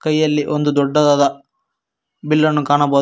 ಕೈಯಲ್ಲಿ ಒಂದು ದೊಡ್ಡದಾದ ಬಿಲ್ಲನ್ನು ಕಾಣಬಹು--